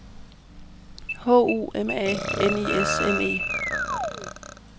H U M A N I S M E